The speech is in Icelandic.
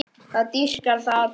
Það dýrka það allir.